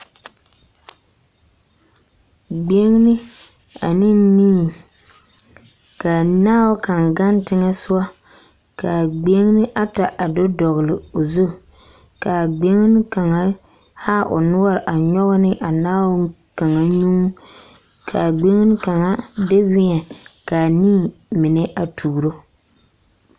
Gbeŋini ane nii, ka naao kaŋa gaŋ teŋԑ sogͻ. Ka a gbeŋini ata a do dͻgele o zu. Ka a gbeŋini kaŋa a haa o noͻre a nyͻge ne a naao kaŋ nyuu. Ka a gbeŋini kaŋa de weԑ, ka a nii mine a tuuro.